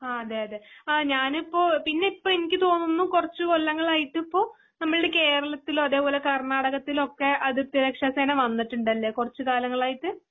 ആ അതെയതെ ആ ഞാനിപ്പോ പിന്നെ പ്പ എനിക്ക് തോന്നുന്നു കൊറച്ചു കൊല്ലങ്ങളായിട്ട് ഇപ്പൊ നമ്മുടെ കേരളത്തിലും അതുപോലെ കർണ്ണടകത്തിലോക്കെ അതിർത്തി രക്ഷാ സേന വന്നിട്ടുടല്ലേ കുറച്ചു കാലങ്ങളായിട്ട്.